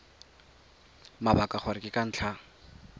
mabaka gore ke ka ntlha